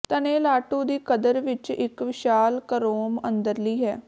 ਤਣੇ ਲਾਟੂ ਦੀ ਕਦਰ ਵਿੱਚ ਇੱਕ ਵਿਸ਼ਾਲ ਕਰੋਮ ਅੰਦਰਲੀ ਹੈ